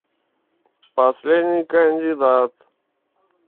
последний кандидат